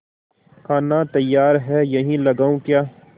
खाना तैयार है यहीं लगाऊँ क्या